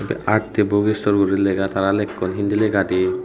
arti book store guri lega tara lekkon hindi legadi.